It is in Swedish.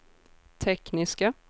tekniska